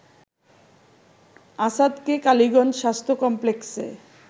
আসাদকে কালীগঞ্জ স্বাস্থ্য কমপ্লেক্সে